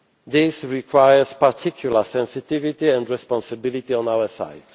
This requires particular sensitivity and responsibility on our